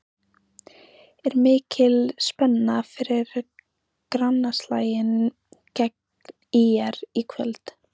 Er mikil spenna fyrir grannaslaginn gegn ÍR í kvöld?